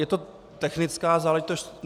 Je to technická záležitost.